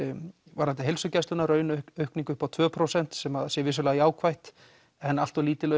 varðandi heilsugæsluna raunaukningu upp á tvö prósent sem að sé vissulega jákvætt en allt of lítil